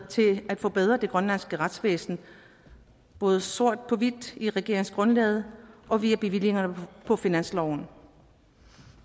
til at forbedre det grønlandske retsvæsen både sort på hvidt i regeringsgrundlaget og via bevillingerne på finansloven